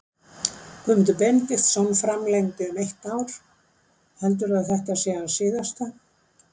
Guðmundur Benediktsson framlengdi um eitt ár heldurðu að þetta sé hans síðasta?